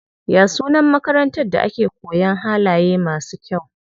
Ya sunan makarantar da ake koyan halaye masu kyau?